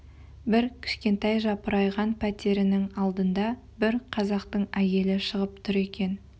бір кішкентай жапырайған пәтерінің алдында бір қазақтың әйелі шығып тұр екен